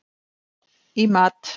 í mat.